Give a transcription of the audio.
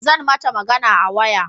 Zan mata magana a waya